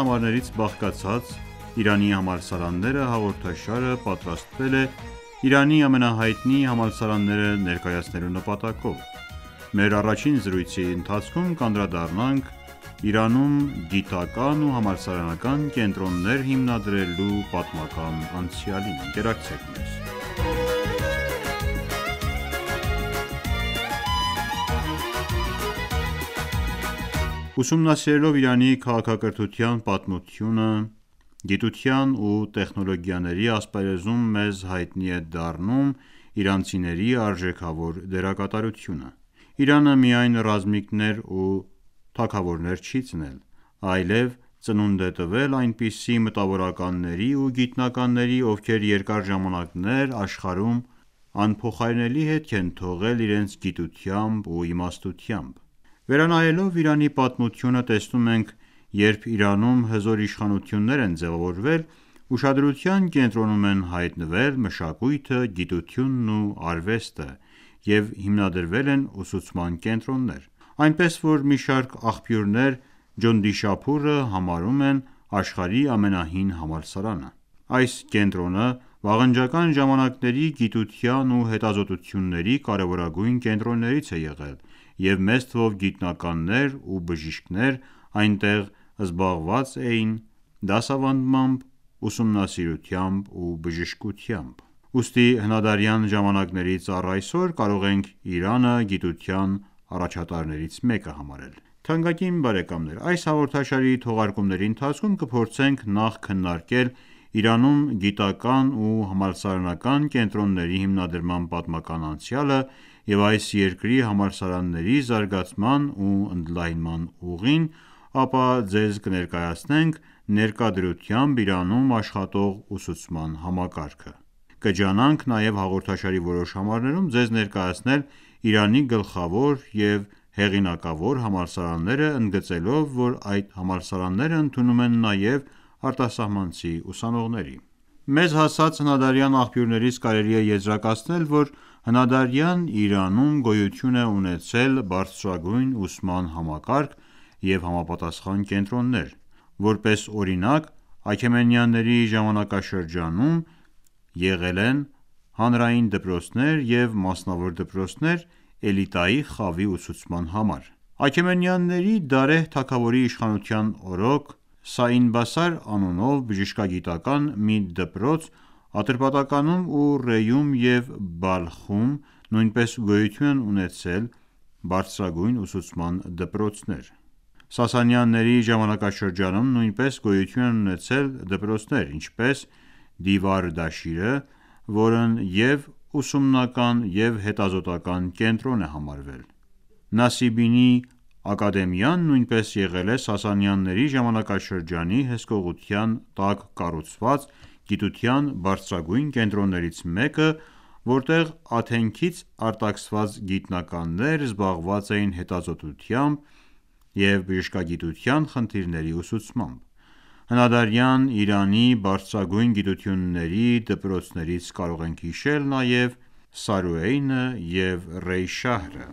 համարներից բաղկացած «Իրանի համալսարանները» հաղորդաշարը պատրաստվել է Իրանի ամենահայտնի համալսարանները ներկայացնելու նպատակով: Մեր առաջին զրույցի ընթացքում կանդրադառնանք Իրանում գիտական ու համալսարանական կենտրոններ հիմնադրելու պատմական անցյալին: Ընկերակցեք մեզ: Ուսումնասիրելով Իրանի քաղաքակրթության պատմությունը գիտության ու տեխնոլոգիաների ասպարեզում մեզ հայտնի է դառնում իրանցիների արժեքավոր դերակատարությունը: Իրանը միայն ռազմիկներ ու թագավորներ չի ծնել, այլև ծնունդ է տվել այնպիսի մտավորականների ու գիտնականների, ովքեր երկար ժամանակներ աշխարհում անփոխարինելի հետք են թողել իրենց գիտությամբ ու իմաստնությամբ: Վերանայելով Իրանի պատմությունը տեսնում ենք, երբ Իրանում հզոր իշխանություններ են ձևավորվել, ուշադրության կենտրոնում են հայտնվել մշակույթը, գիտությունն ու արվեստը և հիմնադրվել են ուսուցման կենտրոններ: Այնպես որ մի շարք աղբյուրներ «Ջոնդիշափուրը» համարում են աշխարհի ամենահին համալսարանը: Այս կենտրոնը վաղնջական ժամանակների գիտության ու հետազոտությունների կարևորագույն կենտրոններից է եղել և մեծ թվով գիտնականներ ու բժիշկներ այնտեղ զբաղված էին դասավանդմամբ, ուսումնառությամբ ու բժշկությամբ: Ուստի հնադարյան ժամանակներից առայսօր կարող ենք Իրանը գիտության առաջատարներից մեկը համարել: Թանկագին բարեկամներ այս հաղորդաշարի թողարկումների ընթացքում կփորձենք նախ քննարկել Իրանում գիտական ու համալսարանական կենտրոնների հիմնադրման պատմական անցյալը և այս երկրի համալսարանների զարգացման ու ընդլայնման ուղին, ապա ձեզ կներկայացնենք ներկա դրությամբ Իրանում աշխատող ուսուցման համակարգը: Կջանանք նաև հաղորդաշարի որոշ համարներում ձեզ ներկայացնել Իրանի գլխավոր և հեղինակավոր համալսարանները ընգծելով, որ այդ համալսարանները ընդունում են նաև արտասահմանցի ուսանողների: Մեզ հասած հնադարյան աղբյուներից կարելի է եզրակացնել, որ հնադարյան Իրանում գոյություն է ունեցել բարձրագույն ուսման համակարգ և համապատասխան կենտրոններ: Որպես օրինակ Աքեմենյանների ժամանակաշրջանում եղել են հանրային դպրոցներ և մասնավոր դպրոցներ էլիտայի խավի ուսուցման համար: Աքեմենյանների Դարեհ թագավորի իշխանության օրոք «Սաին Բասար» անունով բժշկագիտական մի դպրոց, Ատրպատականում ու Ռեյում և Բալխում նույնպես գոյություն են ունեցել բարձրագույն ուսուցման դպրոցներ: Սասանյանների ժամանակաշրջանում նույնպես գոյություն են ունեցել դպրոցներ, ինչպես «Դիվար Դաշիրը», որն և՛ ուսումնական և՛ հետազոտական կենտրոն է համարվել: «Նասիբինի ակադեմիան» նույնպես եղել է Սասանյանների ժամանակաշրջանի հսկողության տակ կառուցված գիտության բարձրագույն կենտրոներից մեկը, որտեղ Աթենքից արտաքսված գիտնականներ զբաղված էին հետազոտությամբ և բժշկագիտության խնդիրների ուսուցմամբ: Հնադարյան Իրանի բարձրագույն գիտությունների դպրոցներից կարող ենք նաև հիշել «Սարույեն» և «Ռեյշահրը»: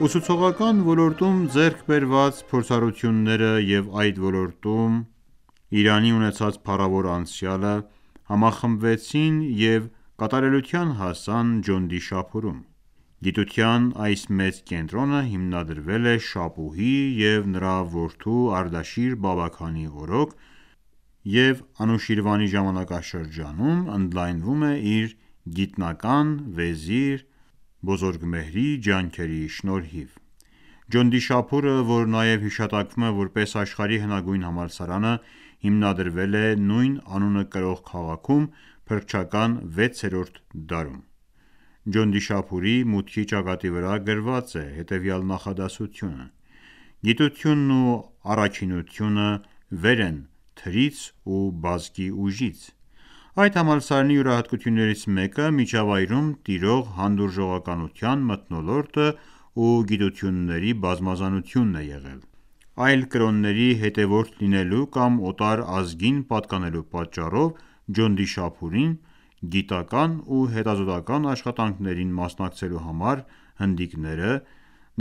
Ուսուցողական ոլորտում ձեռք բերված փորձառությունները և այդ ոլորտում Իրանի ունեցած փառավոր անցյալը համախմբվեցին և կատարելության հասան «Ջոնդիշափուրում»: Գիտության այս մեծ կենտրոնը հիմնադրվել է Շապուհի և նրա որդու Արդաշիր Բաբաքանի օրոք և Անուշիրվանի ժամանակաշրջանում՝ ընդլայնվում է իր գիտնական վեզիր Բոզորգմեհրի ջանքերի շնորհիվ: «Ջոնդիշափուրը», որ նաև հիշատակվում է որպես աշխարհի հնագույն համալսարանը, հիմնադրվել է նույն անունը կրող քաղաքում՝ փրկչական 6-ր դ դարում: Ջոնդիշափուրի մուտքի ճակատի վրա գրված է հետևյալ նախադասությունը «Գիտությունն ու առաքինությունը վեր են թրից ու բազկի ուժից»: Այդ համալսարանի յուրահատկություններից մեկը՝ միջավայրում տիրող հանդուրժողականության մթնոլորտը ու գիտությունների բազմազանությունն է եղել: Այլ կրոնի հետևորդ լինելու կամ օտար ազգին պատակնելու պատճառով «Ջոնդիշափուրում» գիտական ու հետազոտական աշխատանքների մասնակցելու համար հնդիկները,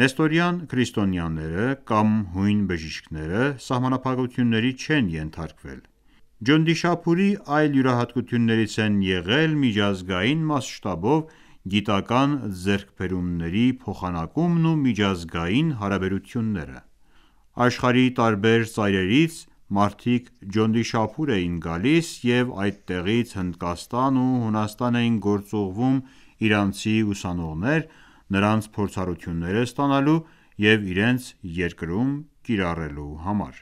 նեստորական քրիստոնյաները կամ հույն բժիշկները սահմանափակությունների չեն ենթարկվել: «Ջոնդիշափուրի» այլ յուրահատկություններից են եղել միջազգային մասշտաբով գիտական ձեռքբերումների փոխանակումն ու միջազգային հարաբերությունները: Աշխարհի տարբեր ծայրերից մարդիկ «Ջոնդիշափուր» էին գալիս և այդտեղից Հնդկաստան ու Հունաստան էին գործուղվում իրանցի ուսանողներ՝ նրանց փորձառությունները ստանալու և իրենց երկրում կիրառելու համար: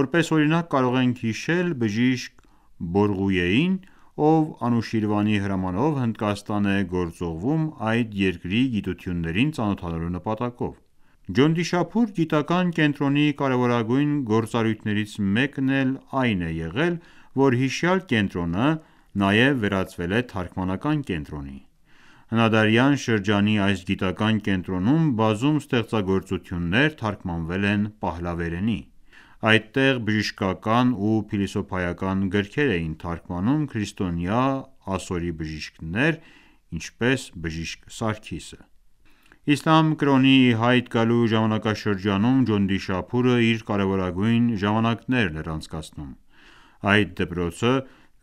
Որպես օրինակ կարող ենք հիշել բժիշկ Բորղույեին, ով Անուշիրվանի հրամանով Հնդակաստան է գործուղղվում այդ երկրի գիտություններին ծանոթանալու նպատակով: «Ջոնդիշափուր» գիտական կենտրոնի կարևորագույն գործառույնթներից մեկն էլ այն է եղել, որ հիշյալ կենտրոնը նաև վերածվել է թարգմանական կենտրոնի: Հնադարյան շրջանի այս գիտական կենտրոնում բազում ստեղծագործություններ թարգմանվել են պահլավերենի: Այդտեղ բժշկական ու փիլիսոփայական գրքեր էին թարգմանում քրիստոնյա ասորի բժիշկներ, ինչպես բժիշկ Սարգիսը: Իսլամ կրոնի ի հայտ գալու ժամանակաշրջանում «Ջոնդիշափուրը» իր կարևորագույն ժամանակներն էր անցկացնում: Այդ դպրոցը,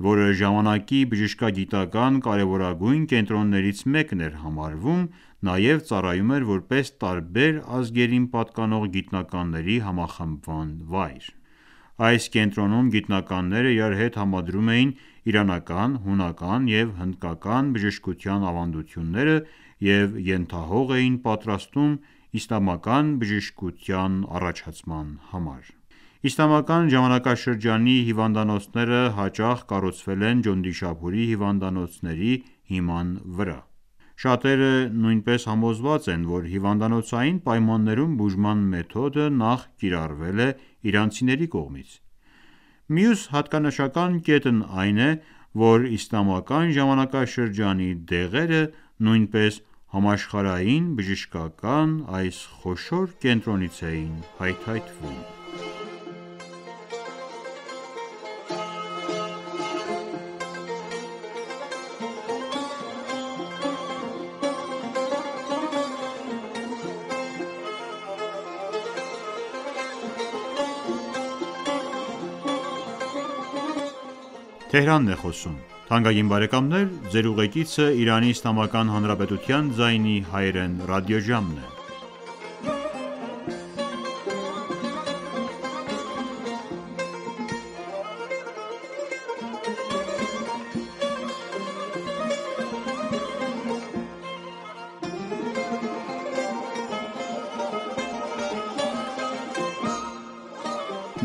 որը ժամանակի բժշկագիտական կարևորագույն կենտրոններից մեկն էր համարվում՝ նաև ծառայում էր որպես տարբեր ազգերին պատկանող գիտնականների համախմբման վայր: Այս կենտրոնում գիտանականները իրար հետ համադրում էին իրանական, հունական և հնդկական բժշկության ավանդությունները և ենթահող էին պատրաստում իսլամական բժշկության առաջացման համար: Իսլամական ժամանակաշրջանի հիվանդանոցները հաճախ կառուցվել են Ջոնդիշափուրի հիվանդանոցների հիման վրա: Շատերը նույնպես համոզված են, որ հիվանդանոցային պայմաններում բուժման մեթոդը նախ կիրառվել է իրանցիների կողմից: Մյուս հատկանշական կետն այն է, որ իսլամական ժամանակաշրջանի դեղերը նույնպես համաշխարհային բժշկական այս խոշոր կենտրոնից էին հայթայթվում: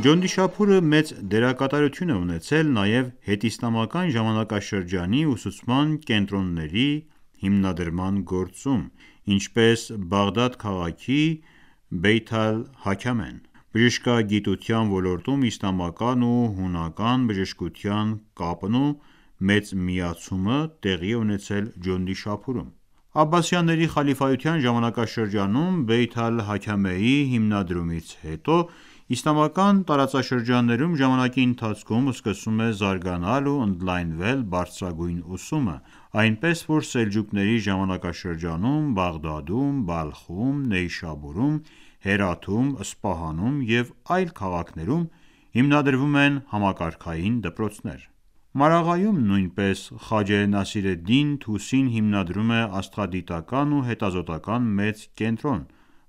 Ջոնդիշափուրը մեծ դերակատարություն է ունեցել նաև հետիսլամական ժամանակաշրջանի ուսուցման կենտրոնների հիմնադրման գործում, ինչպես Բաղդադ քաղաքի «Բեյթ-ալ-Հիքմա»-ն,որը նշանակում է Իմաստության տուն (Bayt al-Hikma): Բժշկագիտության ոլորտում իսլամական ու հունական բժշկության կապն ու մեծ միացումը տեղի է ունեցել Ջոնդիշափուրում: Աբասյանների խալիֆայության ժամանակաշրջանում «Բեյթ-ալ-Հիքմա»-ի հիմնադրումից հետո, իսլամական տարածաշրջաններում ժամանակի ընթացքում սկսում է զարգանալ ու ընդլայնվել բարձրագույն ուսումը, այնպես որ Սելջուկյանների ժամանակաշրջանում Բաղդադում, Բալխում, Նեյշաբուրում, Հերաթում, Սպահանում և այլ քաղաքներում հիմնադրվում են համակարգային դպրոցներ: Մարաղայում նույնպես Խաջե Նասիրեդդին Թուսին հիմնադրում է աստղադիտական ու հետազոտական մեծ կենտրոն,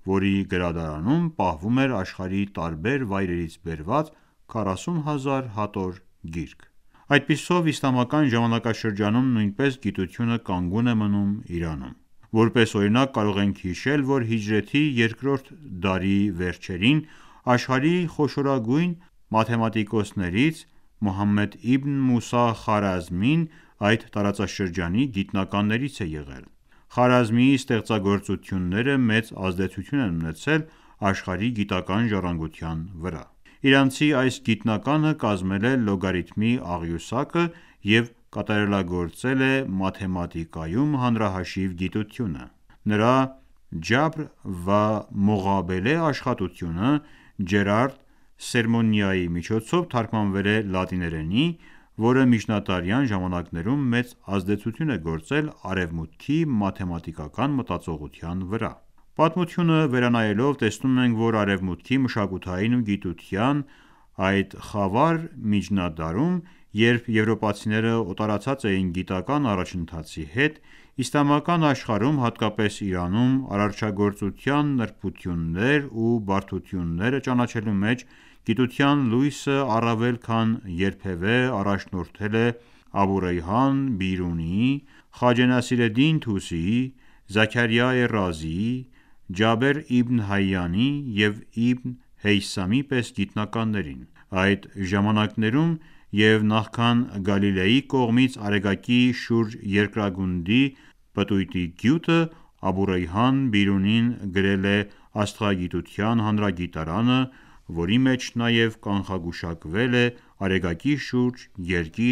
որի գրադարանում պահվում էր աշխարհի տարբեր վայրերից բերված 40 հազար հատոր գիրք: Այդպիսով իսլամական ժամանակաշրջանում նույնպես գիտությունը կանգուն է մնում Իրանում: Որպես օրինակ կարող ենք հիշել, որ հիջրեթի 2-րդ դարի վերջերին աշխարհի խոշորագույն մաթեմատիկոսներից Մոհամմեդ Իբն Մուսա Խարազմին այդ տարածաշրջանի գիտնականներից է եղել: Խարազմիի ստեղծագործությունները մեծ ազդեցություն են ունեցել աշխարհի գիտական ժառանգության վրա: Իրանցի այս գիտնականը կազմել է լոգարիթմի աղյուսակը և կատարելագործել է մաթեմատիկայում հանրահաշիվ գիտությունը: Նրա «Ջաբր վա Մողաբելե» աշխատությունը Ջերարդ Սերմոնայի կողմից թարգմանվել է լատիներենի, որը միջնադարյան ժամանակներում մեծ ազդեցություն է գործել արևմուտքի մաթեմատիկական մտածողության վրա: Պատմությունը վերանայելով տեսնում ենք, որ արևմուտքի մշակութային ու գիտական այդ խավար միջնադարում, երբ եվրոպացիները օտարացած էին գիտական առաջընթացի հետ, իսլամական աշխարհում, հատկապես Իրանում արարչագործության նրբություններ ու բարդությունները ճանաչելու մեջ գիտության լույսը առավել քան երբևէ առաջնորդել է «Աբուռեյհան Բիրունիի», «Խաջե Նասիրեդդին Թուսիի», «Զաքարյա Ռազիի», «Ջաբեր Իբն Հայանի» և «Իբն Հեյսամի» պես գիտնականներին: Այդ ժամանակներում և նախքան Գալիլեի կողմից Արեգակի շուրջ երկրագնդի պտույտի գյուտը Աբուռեյհան Բիրունին գրել էր աստղագիտության հանրագիտարանը, որի մեջ նաև կանխագուշակել էր Արեգակի շուրջ երկիր